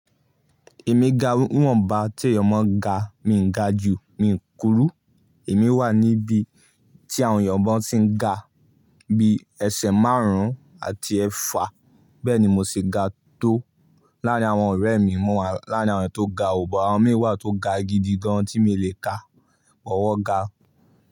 Èmi ga nìwọ̀nba tí èèyàn máa ń ga, mi ò ga ju, mi ò kúrú. Èmi wà níbi tí àwọn èèyàn máa ń tí ń ga bí ẹsẹ̀ márùn-ún àti ẹfà bẹ́ẹ̀ ni mo ṣe ga tó. Láàrín àwọn ọ̀rẹ́ mi mo wa, láàrín àwọn tó ga oò, buh àwọn mi wà tó ga gidi gan tí mi lè ka, buh wọn ga.